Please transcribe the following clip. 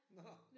Nåh